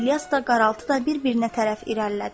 İlyas da qaraltı da bir-birinə tərəf irəlilədi.